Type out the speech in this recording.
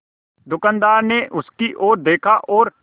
दुकानदार ने उसकी ओर देखा और